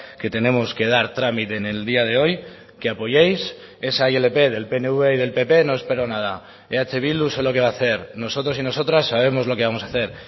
que tenemos que dar trámite en el día de hoy que apoyéis esa ilp del pnv y del pp no espero nada eh bildu sé lo que va a hacer nosotros y nosotras sabemos lo que vamos a hacer